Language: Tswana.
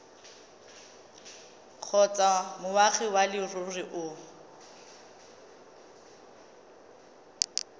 kgotsa moagi wa leruri o